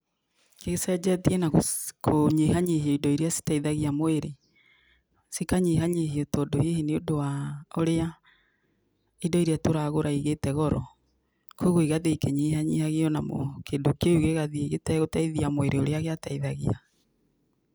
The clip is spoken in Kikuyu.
Icenjetie na kũnyihanyihia indo irĩa citeithagia mũĩrĩ, cikanyihanyihio tondũ hihi nĩũndũ wa ũrĩa indo irĩa tũragũra igĩte goro, kogwo igathiĩ ikinyihanyihagio na mo, kindũ kĩu gĩgathiĩ gĩtegũteithia mwĩrĩ ũrĩa gĩateithagia.